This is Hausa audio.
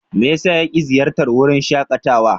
Me yasa yake ziyartar wurin shakatawa?